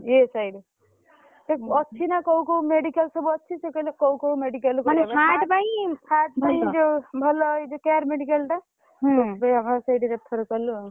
ହଁ ESI ରେ ସିଏ ଅଛି ନା କୋଉ କୋଉ medical ସବୁ ଅଛି ସିଏ କହିଲେ କୋଉ କୋଉ medical heart ପାଇଁ ଯୋଉ ଭଲ ଏଇ ଯୋଉ care medical ଟା ସେଇଥିପାଇଁ ବାପାଙ୍କୁ ସେଇଠି refer କଲୁ ଆଉ।